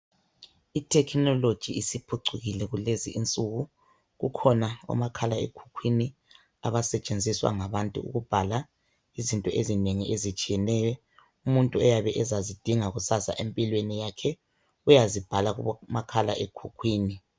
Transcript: I technology isiphucukile kulezinsuku kukhona omakhala ekhukhwini abasetshenziswa ngabantu ukubhala izinto ezinengi ezitshiyeneyo umuntu ayabe ezazidinga kusasa empilweni yakhe, uyazibhala kumakhala ekhukhwini.